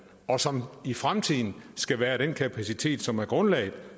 og som i fremtiden skal være den kapacitet som er grundlaget